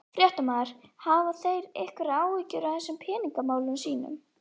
Fréttamaður: Hafa þeir einhverjar áhyggjur af þessum peningamálum sínum?